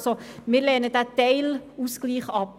Wir lehnen diesen Teilausgleich ab.